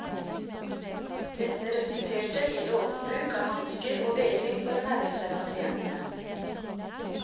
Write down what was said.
Dette resulterte i et overforbruk av hansker og vegring for å nærme seg pasientene.